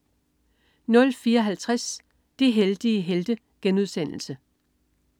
04.50 De heldige helte*